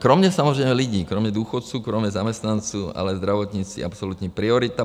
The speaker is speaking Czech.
Kromě samozřejmě lidí, kromě důchodců, kromě zaměstnanců, ale zdravotnictví absolutní priorita.